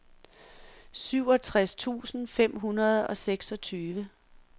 syvogtres tusind fem hundrede og seksogtyve